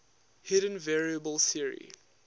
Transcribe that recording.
hidden variable theory